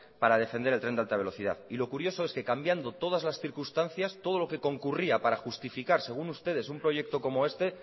para defender el tren de alta velocidad y lo curioso es que cambiando todas las circunstancias todo lo que concurría para justificar según ustedes un proyecto como este